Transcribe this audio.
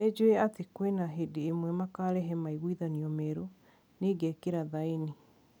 Nijuwe ati kwina hindi imwe makarehe maiguithanio merũ, ningekira thaini.